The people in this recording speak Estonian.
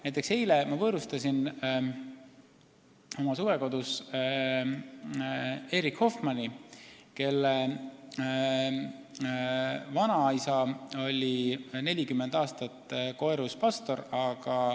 Näiteks eile ma võõrustasin oma suvekodus Erik Hoffmanni, kelle vanaisa oli 40 aastat Koerus pastor.